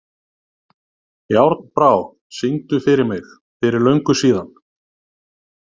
Járnbrá, syngdu fyrir mig „Fyrir löngu síðan“.